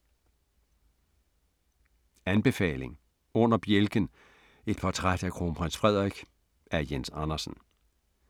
Anbefaling: Under bjælken – et portræt af Kronprins Frederik af Jens Andersen